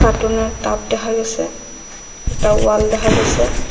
কাটুন -এর টব দেখা গেসে একটা ওয়াল দেখা গেসে।